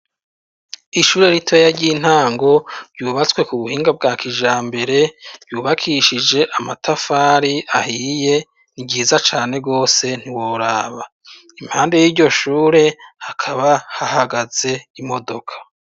Ishure ritoya ry’intango ryubatswe kubuhinga bwa kijambere ryubakishije amatafari ahiye niryiza cane gose ntiworaba, impande yiryo shure hakaba hahagaze imodoka.